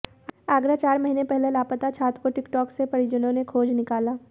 आगरा चार महीने पहले लापता छात्र को टिक टॉक से परिजनों ने खोज निकाला